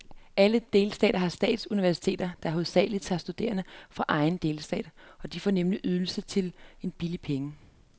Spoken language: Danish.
Alle delstater har statsuniversiteter, der hovedsagelig tager studerende fra egen delstat, de får nemlig ydelsen til en billig penge.